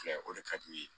Filɛ o de ka di u ye